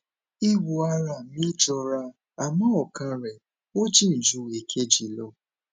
ìwọn ara mi jọra àmọ ọkan rèé ó jìn ju èkejì lọ